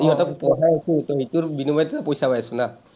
ইয়াতে পঢ়াই আছোঁ এতিয়া, সেইটোৰ বিনিময়তে পইচা পাই আছোঁ না।